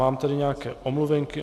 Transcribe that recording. Mám tady nějaké omluvenky.